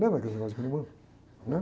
Lembra daqueles negócios de rolimã? Né?